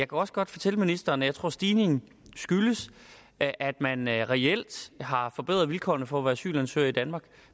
også godt fortælle ministeren at jeg tror stigningen skyldes at at man reelt har forbedret vilkårene for at være asylansøger i danmark